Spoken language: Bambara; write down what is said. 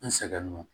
N sɛgɛn don